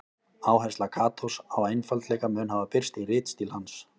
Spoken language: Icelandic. Áhersla Katós á einfaldleika mun hafa birst í ritstíl hans.